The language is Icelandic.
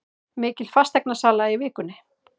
Mikil fasteignasala í vikunni